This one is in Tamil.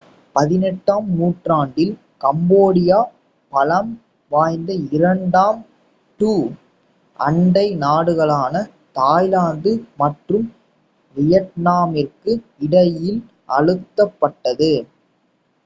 18 ம் நூற்றாண்டில் கம்போடியா பலம் வாய்ந்த இரண்டு two அண்டை நாடுகளான தாய்லாந்து மற்றும் வியட்நாமிற்கு இடையில் அழுத்தப் பட்டது